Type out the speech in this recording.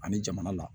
Ani jamana la